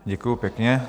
Děkuji pěkně.